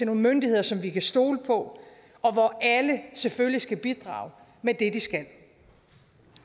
nogle myndigheder som vi kan stole på og hvor alle selvfølgelig skal bidrage med det de skal